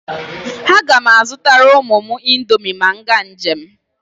A ga m azụtara ụmụ m indomi ma m gaa njem.